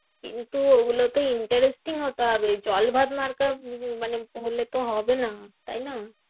কিন্তু ওগুলোতো interesting হতে হবে। জল ভাত মার্কা উম মানে হলে তো হবে না, তাই না?